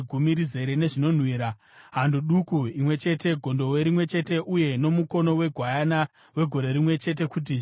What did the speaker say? hando duku imwe chete, gondobwe rimwe chete uye nomukono wegwayana wegore rimwe chete, kuti zvive chipiriso chinopiswa;